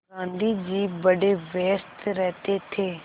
गाँधी जी बड़े व्यस्त रहते थे